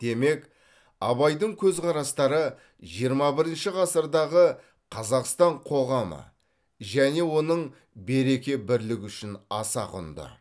демек абайдың көзқарастары жиырма бірінші ғасырдағы қазақстан қоғамы және оның береке бірлігі үшін аса құнды